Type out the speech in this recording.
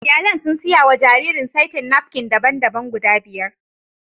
Iyalin sun siya wa jaririn saitin napkin daban-daban guda biyar